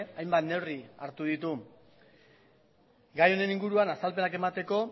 hainbat neurri hartu ditu gai honen inguruan azalpenak emateko